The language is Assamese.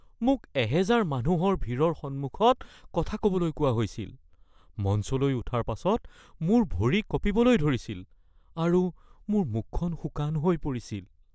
মোক এহেজাৰ মানুহৰ ভিৰৰ সন্মুখত কথা ক'বলৈ কোৱা হৈছিল। মঞ্চলৈ উঠাৰ পাছত মোৰ ভৰি কঁপিবলৈ ধৰিছিল আৰু মুখখন শুকান হৈ পৰিছিল।